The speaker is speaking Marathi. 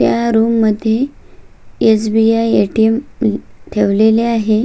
ह्या रूम मध्ये एस.बी.आय. ए.टी.एम. ठेवलेले आहे.